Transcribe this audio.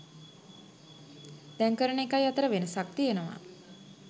දැන් කරන එකයි අතර වෙනසක් තියෙනවා.